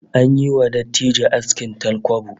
An yi wa dattijo askin talkwabo